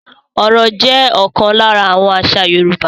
Orò jẹ́ ókan lara àwọn àṣà Yorùbá.